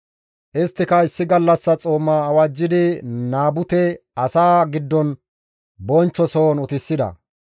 Isttika issi gallassa xooma awajjidi Naabute asaa giddon bonchcho sohon utisida.